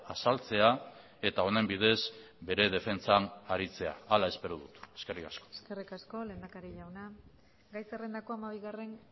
azaltzea eta honen bidez bere defentsan aritzea hala espero dut eskerrik asko eskerrik asko lehendakari jauna gai zerrendako hamabigarren